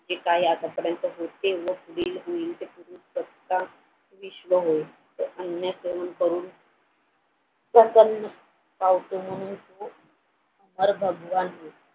हे काय आतापर्यंत होते करून